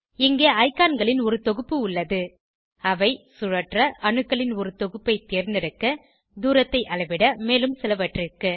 இங்கே ஐகான்களின் ஒரு தொகுப்பு உள்ளது அவை சுழற்ற அணுக்களின் ஒரு தொகுப்பை தேர்ந்தெடுக்க தூரத்தை அளவிட மேலும் சிலவற்றிற்கு